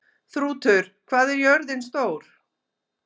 Þrútur, hvað er jörðin stór?